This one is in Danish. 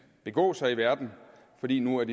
begå sig i verden fordi de nu er